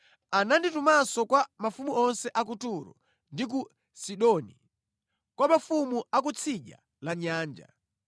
Ananditumanso kwa mafumu onse a ku Turo ndi ku Sidoni; kwa mafumu a kutsidya la nyanja;